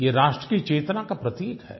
ये राष्ट्र की चेतना का प्रतीक है